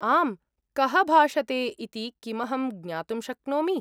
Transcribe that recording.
आम्, कः भाषते इति किमहं ज्ञातुं शक्नोमि?